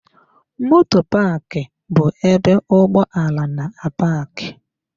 Moto Paaki bu ebe ụgbọ ala na-apaaki